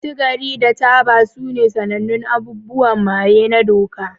Sigari da taba sune sanannun abubuwan maye na doka.